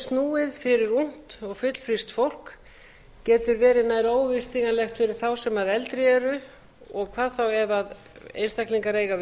snúið fyrir ungt og fullfrískt fólk getur verið nær óyfirstíganlegt fyrir þá sem eldri eru og hvað þá ef einstaklingar eiga við